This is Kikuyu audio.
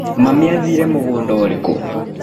Mami athire mũgũnda ũrĩkũ.